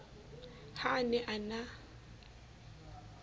ha a ne a na